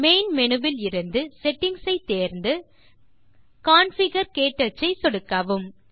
main menu விலிருந்து settings ஐ தேர்ந்து கான்ஃபிகர் - க்டச் ஐ சொடுக்கவும்